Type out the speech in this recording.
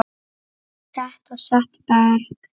Set og setberg